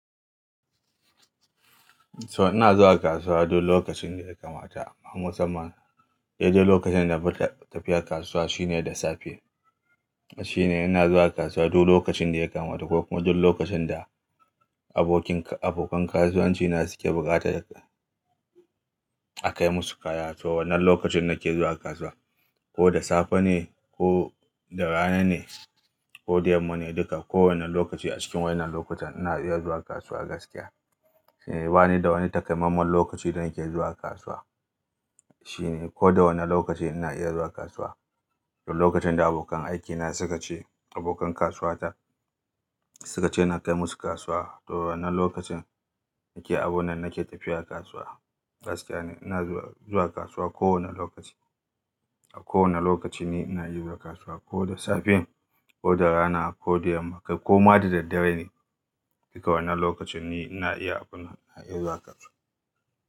So ina zuwa kasuwa duk lokacin da ya kamata. Amma musamman dai dai lokacin da tafiyar kasuwa shine da safe. Shine ina zuwa kasuwa duk lokacin da ya kamata ko kuma duk lokacin da abokin, abokan kasuwanci na suke buƙatar a kai musu kaya. To wannan lokacin nake zuwa kasuwa, ko da safe ne, ko da rana ne, ko da yamma ne duka. Ko wanne lokaci a cikin waɗannan lokutan ina iya zuwa kasuwa gaskiya. Shine bani da wani takamamman lokaci da nake zuwa kasuwa. Shine ko da wane lokaci ina iya zuwa kasuwa. Duk lokacin da abokan aikina suka ce abokan kasuwata, suka ce na kai musu kasuwa. To wannan lokacin yake, abun nan nake tafiya kasuwa gaskiya ne. Ina zuwa kasuwa kowane lokaci. A kowane lokaci ni ina iya zuwa kasuwa, ko da safe, ko da rana, ko da yamma ko ma da daddare ne. Duka wannan lokacin ni ina iya abun nan, ina iya zuwa kasuwa.